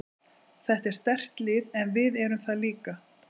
Þetta er sterkt lið en við erum það líka.